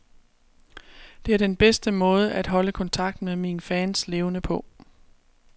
Det er den bedste måde at holde kontakten med mine fans levende på.